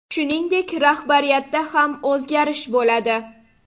Shuningdek, rahbariyatda ham o‘zgarish bo‘ladi.